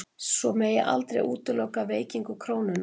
Svo megi aldrei útiloka veikingu krónunnar